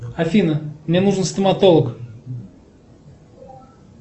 афина мне нужен стоматолог